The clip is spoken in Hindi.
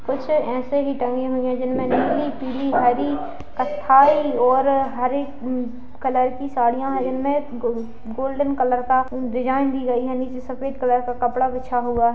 कुछ ऐसे ही टंगी हुई है जिनमें नीली पीली हरी कत्थई और हरी अ कलर की साड़ियां है| इनमें गो-गोल्डन कलर का डिज़ाइन दी गई है नीचे सफेद कलर का कपड़ा बिछा हुआ है--